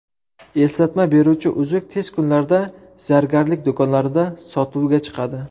Eslatma beruvchi uzuk tez kunlarda zargarlik do‘konlarida sotuvga chiqadi.